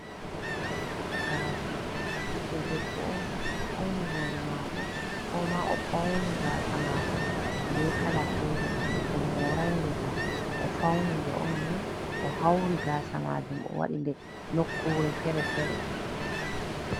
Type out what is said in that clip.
Gaasa biɗdo debbo on, o fauni hoore maako, koma o fauni gaasa maako be kala fere, o morainde kam. O fauni nde on ni, o hauri gaasa majum o waɗi nde nokkure fere-fere.